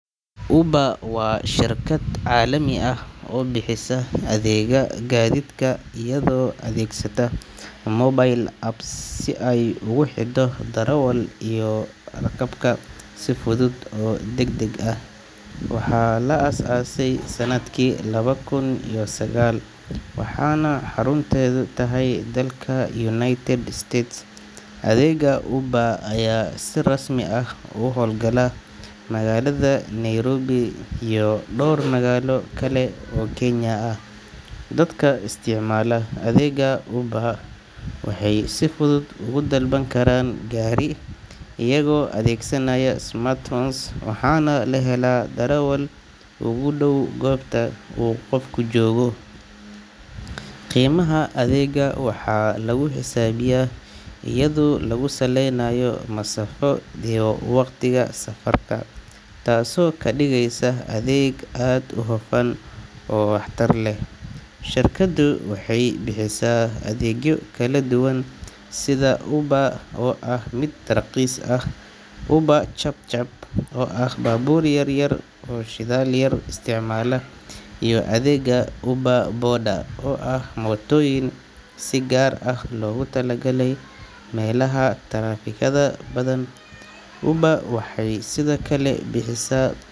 Uber waa shirkad caalami ah oo bixisa adeegga gaadiidka iyadoo adeegsata mobile app si ay ugu xidho darawallada iyo rakaabka si fudud oo degdeg ah. Waxaa la aasaasay sanadkii laba kun iyo sagaal, waxaana xarunteedu tahay dalka United States. Adeegga Uber ayaa si rasmi ah uga hawlgala magaalada Nairobi iyo dhowr magaalo kale oo Kenya ah. Dadka isticmaala adeegga Uber waxay si fudud ugu dalban karaan gaari iyagoo adeegsanaya smartphone, waxaana la helaa darawal ugu dhow goobta uu qofku joogo. Qiimaha adeegga waxaa lagu xisaabiyaa iyadoo lagu saleynayo masaafo iyo waqtiga safarka, taasoo ka dhigeysa adeeg aad u hufan oo waxtar leh. Shirkaddu waxay bixisaa adeegyo kala duwan sida UberX oo ah mid raqiis ah, Uber ChapChap oo ah baabuur yar yar oo shidaal yar isticmaala, iyo adeegga Uber Boda oo ah mootooyin si gaar ah loogu talagalay meelaha taraafikada badan. Uber waxay sidoo kale bixisaa.